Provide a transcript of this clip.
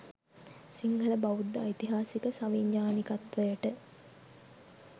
සිංහලබෞද්ධ ඓතිහාසික සවිඥාණිකත්වයට